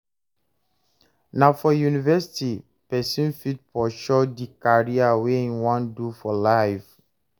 Na for university person fit pursue di career wey im wan do for life